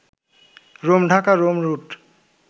Rome-Dhaka-Rome root